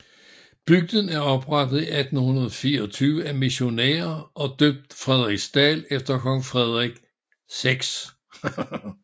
Bygden blev oprettet i 1824 af missionærer og døbt Frederiksdal efter kong Frederik 6